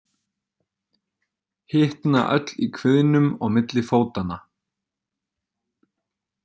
Hitna öll í kviðnum og milli fótanna.